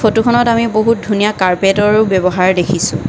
ফটোখনত আমি বহুত ধুনীয়া কাৰ্পেটৰো ব্যৱহাৰ দেখিছোঁ।